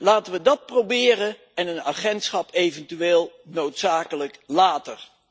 Laten we dat proberen en een agentschap eventueel noodzakelijk later.